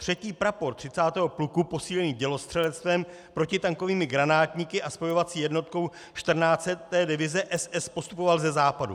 Třetí prapor 30. pluku posílený dělostřelectvem, protitankovými granátníky a spojovací jednotkou 14. divize SS postupoval ze západu.